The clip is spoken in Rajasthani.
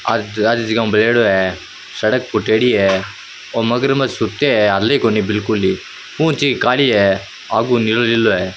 सड़क फुटेडी है ओ मगरमच सूतो है --